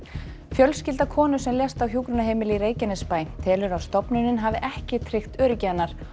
fjölskylda konu sem lést á hjúkrunarheimili í Reykjanesbæ telur að stofnunin hafi ekki tryggt öryggi hennar